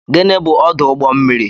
Gịnị bụ ọdụ ụgbọ mmiri